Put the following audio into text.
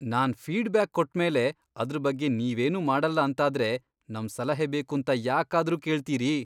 ನಾನ್ feedback ಕೊಟ್ಮೇಲೆ ಅದ್ರ್ ಬಗ್ಗೆ ನೀವೇನೂ ಮಾಡಲ್ಲ ಅಂತಾದ್ರೆ ನಮ್ ಸಲಹೆ ಬೇಕೂಂತ ಯಾಕಾದ್ರೂ ಕೇಳ್ತೀರಿ?